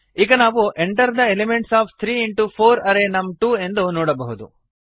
ಈಗ ನಾವು enter the elements of three into four array ನಮ್2 ಎಂದು ನೋಡಬಹುದು